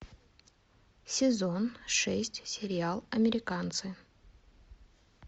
сезон шесть сериал американцы